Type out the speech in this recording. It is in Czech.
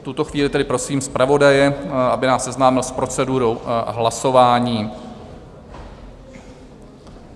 V tuto chvíli tedy prosím zpravodaje, aby nás seznámil s procedurou hlasování.